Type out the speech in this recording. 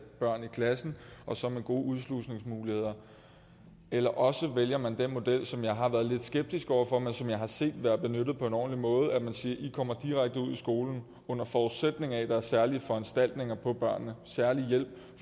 børn i klassen og så med gode udslusningsmuligheder eller også vælger man den model som jeg har været lidt skeptisk over for men som jeg har set været benyttet på en ordentlig måde hvor man siger at kommer direkte ud i skolen under forudsætning af at der er særlige foranstaltninger for børnene særlig hjælp